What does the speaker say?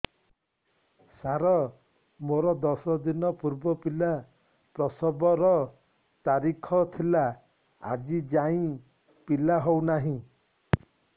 ସାର ମୋର ଦଶ ଦିନ ପୂର୍ବ ପିଲା ପ୍ରସଵ ର ତାରିଖ ଥିଲା ଆଜି ଯାଇଁ ପିଲା ହଉ ନାହିଁ